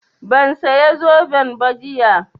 Ban saya zoben ba jiya